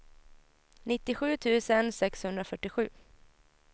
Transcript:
nittiosju tusen sexhundrafyrtiosju